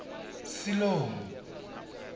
siḽomu